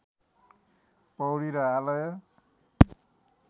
पौडी र आलय